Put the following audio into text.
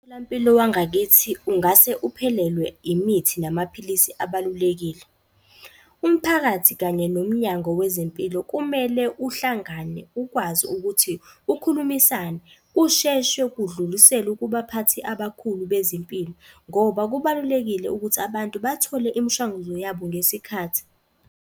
Umtholampilo wangakithi ungase uphelelwe imithi namaphilisi abalulekile. Umphakathi kanye nomnyango wezempilo kumele uhlangane ukwazi ukuthi ukhulumisane, kusheshwe kudluliselwe kubaphathi abakhulu bezempilo, ngoba kubalulekile ukuthi abantu bathole imishanguzo yabo ngesikhathi.